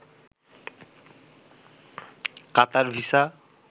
Qatar visa